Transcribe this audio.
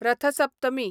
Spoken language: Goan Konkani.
रथ सप्तमी